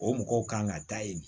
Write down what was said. O mɔgɔw kan ka taa yen